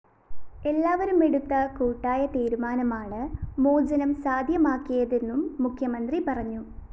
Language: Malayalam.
എല്ലാവരുമെടുത്ത കൂട്ടായതീരുമാനമാണ് മോചനം സാധ്യമാക്കിയതെന്നും മുഖ്യമന്ത്രി പറഞ്ഞു